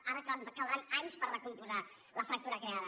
ara caldran anys per recompondre la fractura creada